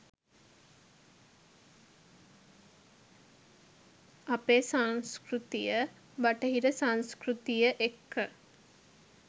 අපේ සංස්කෘතිය බටහිර සංස්කෘතිය එක්ක